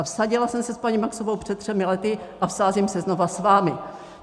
A vsadila jsem se s paní Maxovou před třemi lety a vsázím se znovu s vámi.